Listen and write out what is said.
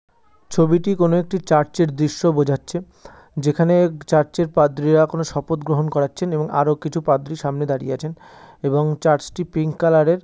ছবিটি কোন একটি চার্চের দৃশ্য বোঝাচ্ছে যেখানে চার্চের পাদ্রীরা কোন শপথ গ্রহণ করাচ্ছেন এবং আরো কিছু পাদ্রি সামনে দাঁড়িয়ে আছেন এবং চার্চটি পিঙ্ক কালারের ।